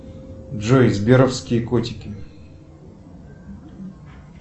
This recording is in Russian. джой сберовские котики